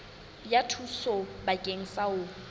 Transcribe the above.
ya thuso bakeng sa ho